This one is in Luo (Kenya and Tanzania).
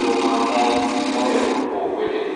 joma mon mohero chwo wetegi.